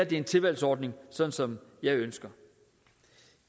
det er en tilvalgsordning sådan som jeg ønsker